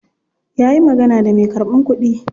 Ya yi magana da me karban kudi.